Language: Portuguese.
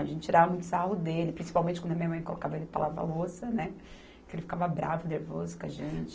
A gente tirava muito sarro dele, principalmente quando a minha mãe colocava ele para lavar a louça, né, que ele ficava bravo, nervoso com a gente.